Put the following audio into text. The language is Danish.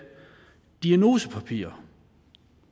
diagnosepapir